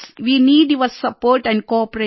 way need your support and cooperation